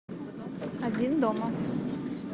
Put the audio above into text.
один дома